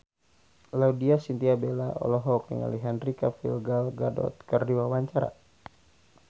Laudya Chintya Bella olohok ningali Henry Cavill Gal Gadot keur diwawancara